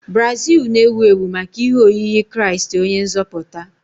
Brazil na-ewu ewu maka ihe oyiyi kraist onye nzoputa.